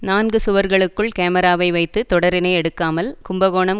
நான்கு சுவர்களுக்குள் காமிராவை வைத்து தொடரினை எடுக்காமல் கும்பகோணம்